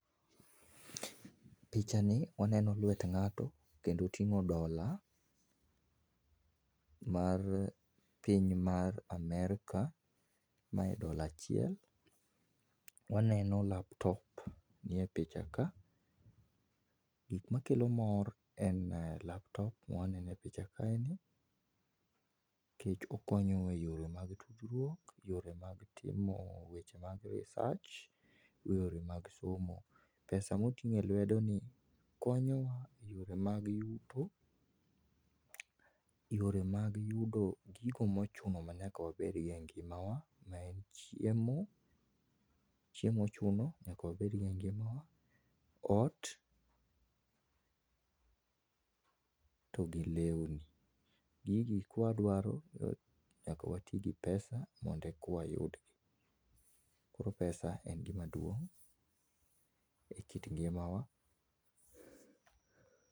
Picha ni waneno lwet ngato kendo otingo dola mar piny mar Amerka, mae dola achiel. Waneno laptop nie picha ka. Gik ma kelo mor en laptop ma waneno e picha kae ni nikech okonyo wa e yore mag tudruok, yore mag timo weche mag research, yore mag somo. Pesa ma oting e lwedo ni konyowa e yore mag yuto, yore mag yudo gigo ma ochuno manyaka wabed go e ngima wa maen chiemo, chiemo ochuno nyaka wabed gi ngima wa, ot togi lewni. Gigi ka wadwaro nyaka watii gi pesa mondo eka wayudgi, koro pesa en gima duong e kit ngima wa